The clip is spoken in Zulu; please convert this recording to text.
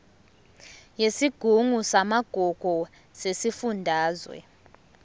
yesigungu samagugu sesifundazwe